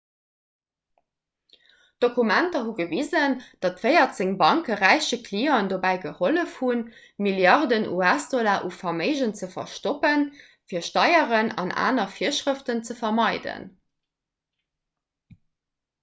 d'dokumenter hu gewisen datt véierzéng banke räiche clienten dobäi gehollef hunn milliarden us-dollar u verméigen ze verstoppen fir steieren an aner virschrëften ze vermeiden